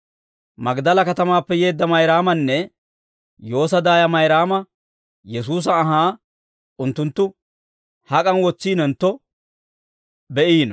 Magdala katamaappe yeedda Mayraamanne Yoosa daaya Mayraama Yesuusa anhaa unttunttu hak'an wotsintto be'iino.